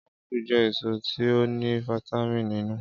Ápù je èsó ti o ní vítámínì nínú.